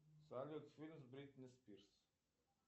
салют фильм с бритни спирс